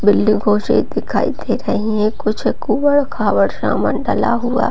बिल्डिंगो सी दिखाई दे रही है कुछ कूबर-खाबर सामान डला हुआ।